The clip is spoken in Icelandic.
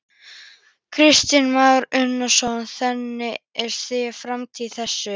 Kristján Már Unnarsson: Þannig að þið sjáið framtíð í þessu?